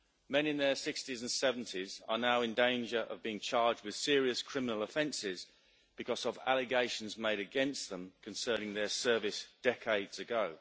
Men in their 60s and 70s are now in danger of being charged with serious criminal offences because of allegations made against them concerning their service decades ago.